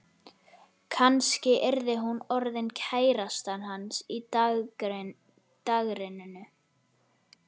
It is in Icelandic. Kannski yrði hún orðin kærastan hans í dagrenningu.